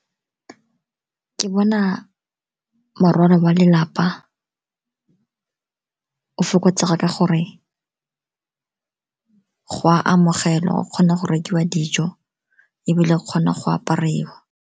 Ke bona morwalo wa lelapa o fokotsega ka gore go a amogelwa, go kgona go rekiwa dijo ebile o kgona go apariwa.